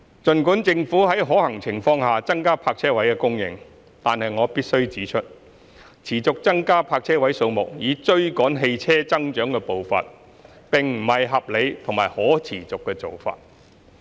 儘管政府會在可行情況下增加泊車位供應，但我必須指出，持續增加泊車位數目以追趕汽車增長的步伐，並不是合理或可持續的做法。